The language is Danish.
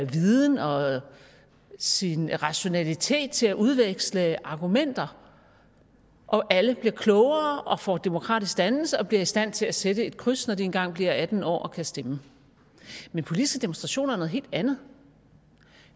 viden og sin rationalitet til at udveksle argumenter og alle bliver klogere og får demokratisk dannelse og bliver i stand til at sætte et kryds når de engang bliver atten år og kan stemme men politiske demonstrationer er noget helt andet